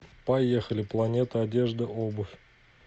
поехали планета одежда обувь